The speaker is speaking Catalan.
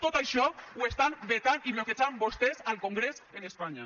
tot això ho estan vetant i bloquejant vostès al congrés en espanya